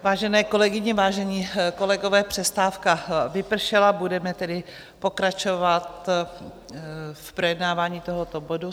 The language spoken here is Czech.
Vážené kolegyně, vážení kolegové, přestávka vypršela, budeme tedy pokračovat v projednávání tohoto bodu.